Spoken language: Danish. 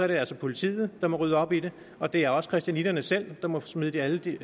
det altså politiet der må rydde op i det og det er også christianitterne selv der må smide alle de